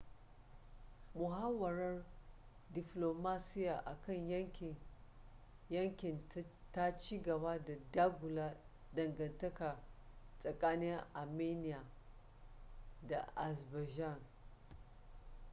muhawarar diflomasiya akan yankin ta cigaba da dagula dangantaka tsakanin armenia da azerbaijan